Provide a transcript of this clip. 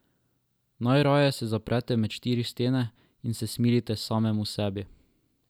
Najraje se zaprete med štiri stene in se smilite samemu sebi.